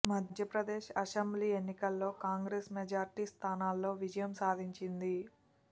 Madhya Pradesh assembly ఎన్నికల్లో Congress majority స్థానాల్లో విజయం సాధించింది